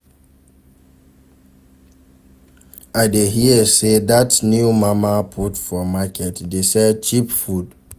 I dey hear sey dat new mama put for market dey sell cheap food.